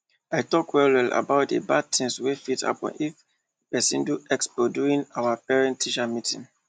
i talk well well about the the bad things wey fit happen if person do expo during our parentteacher meeting